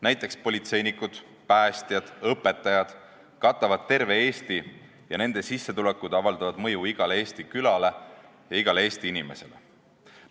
Näiteks politseinikud, päästjad ja õpetajad töötavad kogu Eestis ja nende sissetulekud avaldavad mõju igale Eesti külale ja igale Eesti inimesele.